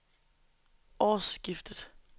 årsskiftet